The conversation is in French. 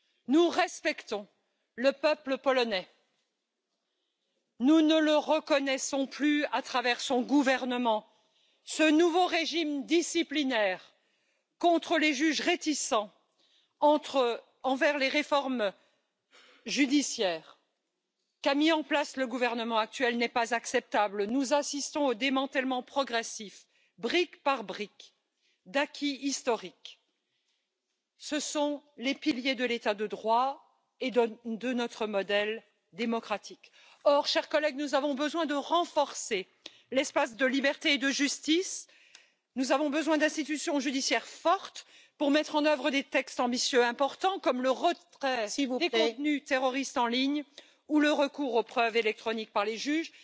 Nous respectons le peuple polonais. Nous ne le reconnaissons plus à travers son gouvernement. Ce nouveau régime disciplinaire contre les juges réticents envers les réformes judiciaires qu'a mises en place le gouvernement actuel n'est pas acceptable. Nous assistons au démantèlement progressif, brique par brique, d'acquis historiques. Ce sont les piliers de l'état de droit et de notre modèle démocratique. Or, chers collègues, nous avons besoin de renforcer l'espace de liberté et de justice, nous avons besoin d'institutions judiciaires fortes pour mettre en œuvre des textes ambitieux, importants, comme le retrait des contenus terroristes en ligne ou le recours aux preuves électroniques par les juges.